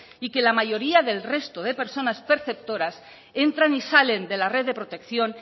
y que la mayoría del resto de personas perceptoras entran y salen de la red de protección